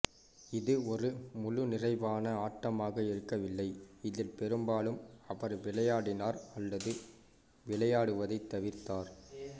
இது ஒரு முழுநிறைவான ஆட்டமாக இருக்கவில்லை இதில் பெரும்பாலும் அவர் விளையாடினார் அல்லது விளையாடுவதைத் தவிர்த்தார்